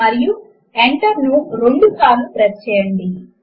మరియు enter ను రెండుసార్లు ప్రెస్ చేయండి